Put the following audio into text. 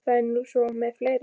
Það er nú svo með fleiri.